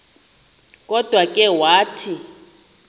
kodwa ke wathi